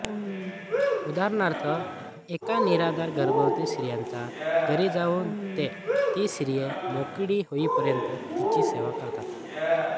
उदाहरणार्थ एका निराधार गर्भवती स्त्रीच्या घरी जाऊन ते ती स्त्री मोकळी होईपर्यंत तिची सेवा करतात